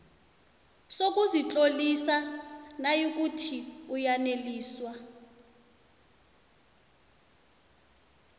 sokuzitlolisa nayikuthi uyaneliswa